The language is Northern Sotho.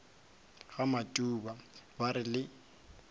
ga matuba ba re le